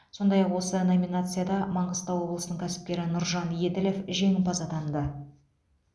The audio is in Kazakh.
сондай ақ осы номинацияда маңғыстау облысының кәсіпкері нұржан еділов жеңімпаз атанды